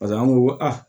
Paseke an ko ko aa